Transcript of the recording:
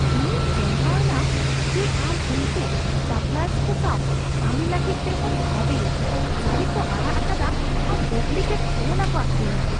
ᱤᱧᱤᱧ ᱪᱚᱢᱠᱟᱣ ᱮᱱᱟ ᱡᱮ ᱟᱢ ᱩᱱᱠᱩ ᱥᱟᱯᱞᱟᱭᱟᱨᱥ ᱠᱚ ᱥᱟᱶ ᱠᱟᱹᱢᱤ ᱞᱟᱹᱜᱤᱫ ᱴᱮᱦᱚᱢ ᱵᱷᱟᱹᱵᱤᱭᱟ ᱥᱟᱹᱨᱤ ᱠᱚ ᱟᱲᱟᱜ ᱟᱠᱟᱫᱟ ᱟᱨ ᱰᱩᱵᱞᱤᱠᱮᱴ ᱠᱷᱤᱞᱚᱱᱟ ᱠᱚ ᱟᱹᱠᱷᱨᱤᱧᱟ ᱾